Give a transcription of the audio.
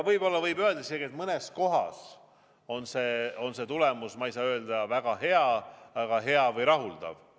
Võib-olla võib öelda isegi, et mõnes kohas on see tulemus, ma ei saa öelda, et väga hea, aga hea või rahuldav.